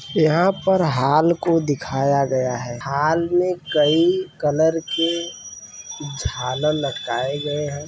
यहाँ पर हॉल को दिखाया गया है। हॉल मे कई कलर के झालर लटकाये गये हैं।